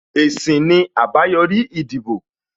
Èsì ni àbáyòrí ìdìbò